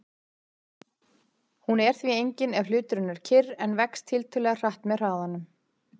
Hún er því engin ef hluturinn er kyrr en vex tiltölulega hratt með hraðanum.